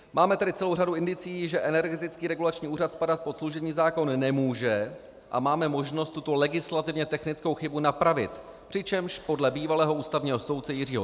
Máme tedy celou řadu indicií, že Energetický regulační úřad spadat pod služební zákon nemůže, a máme možnost tuto legislativně technickou chybu napravit, přičemž podle bývalého ústavního soudce Jiřího